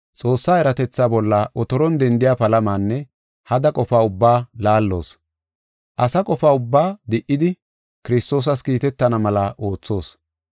Xoossa eratetha bolla otoron dendiya palamanne hada qofa ubba laalloos. Asa qofa ubbaa di77idi Kiristoosas kiitetana mela oothoos.